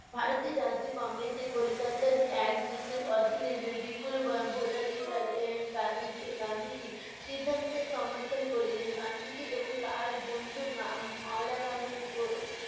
ভারতের রাজ্য কংগ্রেসে কলিকাতার এক বিশেষ অধীনে বি~ বিপুল ভো~ ভোটাধি কা~ কারকে এর সিদ্ধান্তের সমর্থন করিলেন। গান্ধীজী এবং তার বন্ধু ম~ মাওলানা